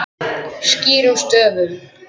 Skýrum stöfum.